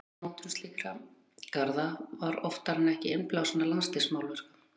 Gerð og mótun slíkra garða var oftar en ekki innblásin af landslagsmálverkum.